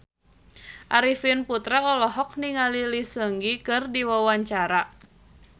Arifin Putra olohok ningali Lee Seung Gi keur diwawancara